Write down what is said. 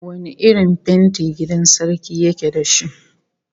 Wane irin fenti gidan sarki yake da shi?